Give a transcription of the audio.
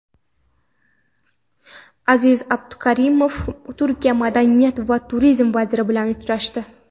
Aziz Abduhakimov Turkiya madaniyat va turizm vaziri bilan uchrashdi.